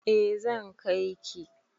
E, zan kai ki